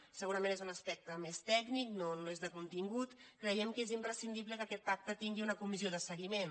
segura·ment és un aspecte més tècnic no és de contingut creiem que és imprescindible que aquest pacte tingui una comissió de seguiment